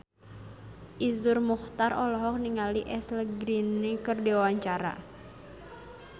Iszur Muchtar olohok ningali Ashley Greene keur diwawancara